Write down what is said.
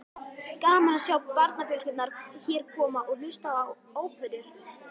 Gaman að sjá barnafjölskyldurnar hér koma og hlusta á óperur.